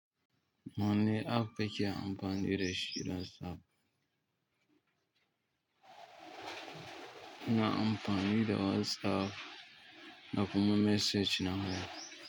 Wane app kake amfani dashi saf. Ina amfani da WhatsApp na kuma message na haya.